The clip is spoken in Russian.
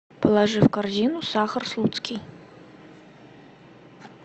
положи в корзину сахар слуцкий